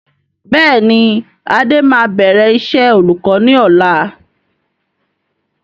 Bẹ́ẹ̀ni adé máa bẹ̀rẹ̀ iṣẹ́ olùkọ́ ni ọ̀la.